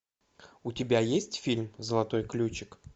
у тебя есть фильм золотой ключик